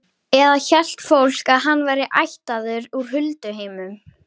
Eða hélt fólk að hann væri ættaður úr hulduheimum?